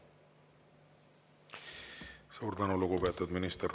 Suur tänu, lugupeetud minister!